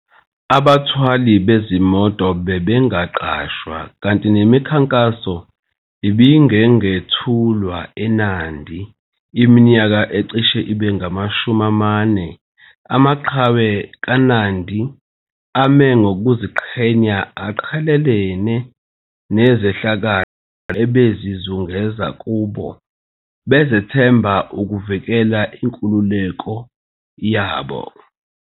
Abathwali bezimoto bebengaqashwa kanti nemikhankaso ibingengethulwa eNandi iminyaka ecishe ibe ngamashumi amane. Amaqhawe kaNandi ame ngokuziqhenya aqhelelene nezehlakalo ebezizungeza kubo bezethemba ukuvikela inkululeko yabo.